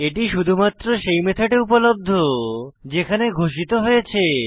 এটি শুধুমাত্র সেই মেথডে উপলব্ধ যেখানে ঘোষিত হয়েছে